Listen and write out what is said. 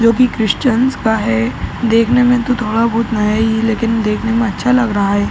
जोकि क्रिशचंस का है। देखने में तो थोड़ा बहुत नया ही लेकिन देखने में अच्छा लग रहा है।